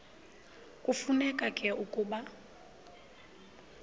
kufuneka ke ukuba